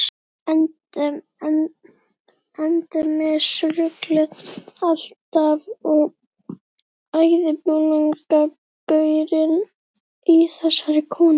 Endemis ruglið alltaf og æðibunugangurinn í þessari konu.